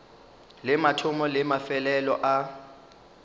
le mathomo le mafelelo a